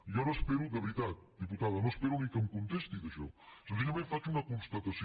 jo no espero de veritat diputada ni que em contesti d’això senzillament faig una constatació